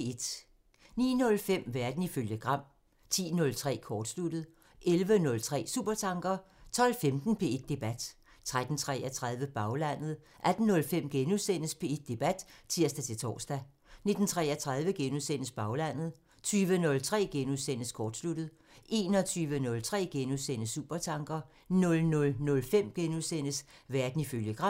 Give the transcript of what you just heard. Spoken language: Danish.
09:05: Verden ifølge Gram (tir) 10:03: Kortsluttet (tir) 11:03: Supertanker (tir) 12:15: P1 Debat (tir-tor) 13:33: Baglandet (tir) 18:05: P1 Debat *(tir-tor) 19:33: Baglandet *(tir) 20:03: Kortsluttet *(tir) 21:03: Supertanker *(tir) 00:05: Verden ifølge Gram *(tir)